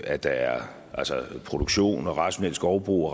at der er produktion og rationelt skovbrug